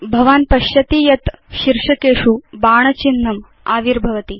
भवान् पश्यति यत् शीर्षकेषु बाण चिह्नम् आविर्भवति